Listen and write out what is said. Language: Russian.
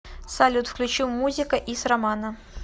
салют включи музика из романа